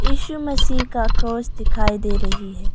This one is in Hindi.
इशू मसीह का क्रॉस दिखाई दे रही है।